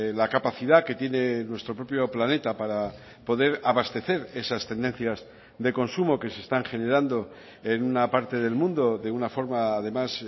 la capacidad que tiene nuestro propio planeta para poder abastecer esas tendencias de consumo que se están generando en una parte del mundo de una forma además